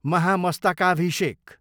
महामस्तकाभिषेक